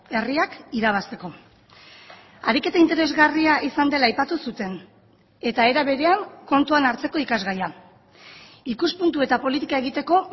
herriak irabazteko ariketa interesgarria izan dela aipatu zuten eta era berean kontuan hartzeko ikasgaia ikuspuntu eta politika egiteko